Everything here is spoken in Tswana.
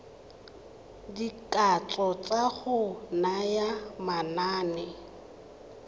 dikatso tsa go naya manane